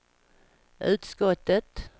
utskottet